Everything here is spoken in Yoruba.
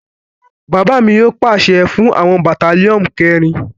Bàbá mi yóò pàṣẹ fún àwọn Batalionu keerin